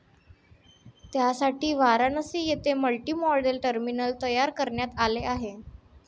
त्यासाठी वाराणसी येथे multimodal terminal तयार करण्यात आले आहे.